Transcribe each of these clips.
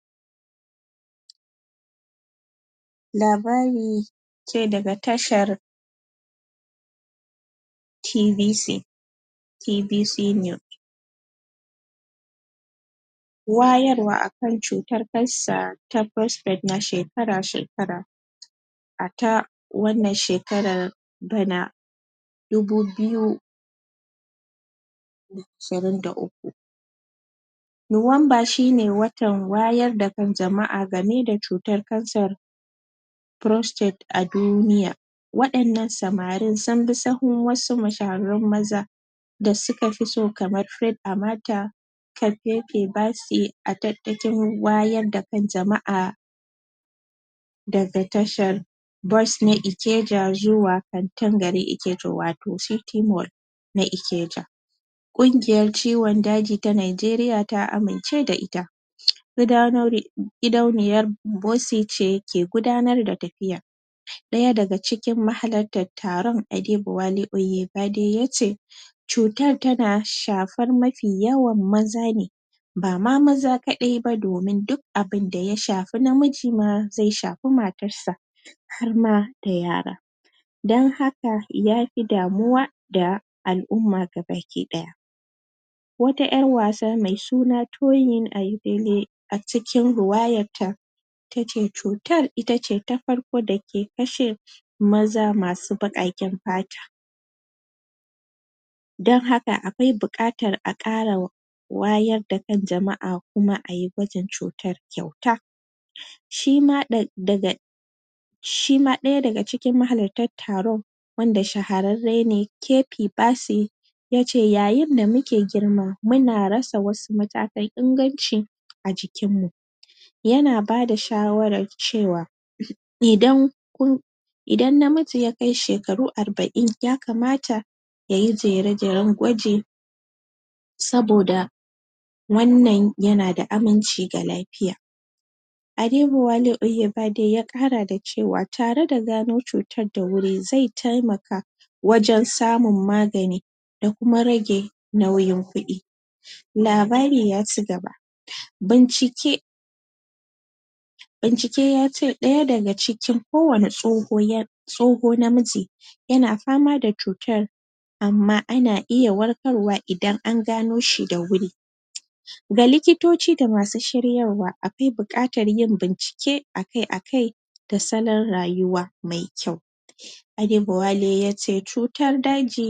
pause Labari ce daga tashar TBC TBC news wayarwa akan cutar cancer ta prostrate na shekara-shekara a ta wannan shekarar da na dubu biyu da na ashirin da uku nuwanba shine watar wayar da kan jama'a game da cutar kansar prostate a duniya waɗannan samarin sunbi sahun wasu mashahararrun maza da sukafi so kamar Freid amata kappepe bassy a tattakin wayar da kan jama'a daga tashar bus na Ikeja zuwa kantar gari Ikeja wato city mall na ikeja ƙungiyar ciwon daji ta najeriya ta amince da ita um gidanauri gidauniyar bossy ce ke gudanar da tafiyar daya daga cikin mahalattar taron Adeboale Oyebade yace cutar tana shafar mafi yawan maza ne bama maza kaɗai ba domin duk abinda ya shafi namiji ma zai shafi matarsa har ma da yara don haka yafi damuwa da al'umma ga baki ɗaya wata ƴar wasa me suna Toyin Ayidele a cikin ruwayarta tace cutar ita ce ta farko da ke kashe maza masu baƙaƙen fata don haka akwai bukatar a ƙarawa wayar da kan jama'a kuma ayi gwajin cutar kyauta shima ɗa.. daga shima ɗaya daga cikin mahalattar taron wanda shahararre ne Kepi Bassy yace yayn da muke girma muna rasa wasu matakan inganci a jikinmu yana bada shawarar cewa um idan kun idan namiji ya kai shekeru arba'in ya kamata yayi jere-jeren gwaji saboda wannan yana da aminci ga lafiya Adeboale Oyebade ya kara da ce wa tare da gano cutar da wuri zai temaka wajen samun magani da kuma rage nauyin kuɗi labari yaci gaba um bincike bincike yace ɗaya daga cikin ko wane tsoho ya tsoho namiji yana fama da cutar amma ana iya warkarwa idan an gano shi da wuri um ga likitoci da masu shiryarwa akwai bukatar yin bincike akai-akai da salon rayuwa me kyau Adeboale yace cutar daji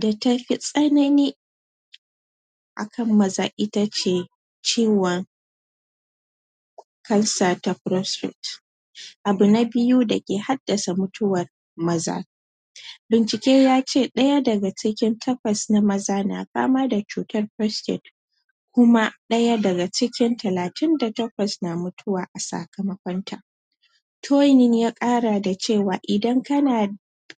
da tafi tsanani akan maza ita ce ciwon cancer ta prostrate abu na biyu da ke haddasa mutuwar maza bincike yace ɗaya daga cikin takwas na maza na fama da cutar prostrate kuma ɗaya daga cikin talatin da takwas na mutuwa a sakamakon ta Toyin ya ƙara da cewa idan kana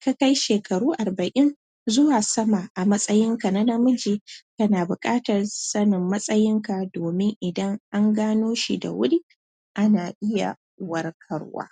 ka kai shekaru arba'in zuwa sama a matsayinka na namiji kana bukatar sanin matsayinka domin idan an ganoshi da wuri ana iya warkarwa